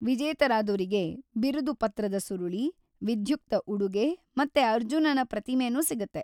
ವಿಜೇತರಾದೋರಿಗೆ ಬಿರುದುಪತ್ರದ ಸುರುಳಿ, ವಿಧ್ಯುಕ್ತ ಉಡುಗೆ ಮತ್ತೆ ಅರ್ಜುನನ ಪ್ರತಿಮೆನೂ ಸಿಗತ್ತೆ.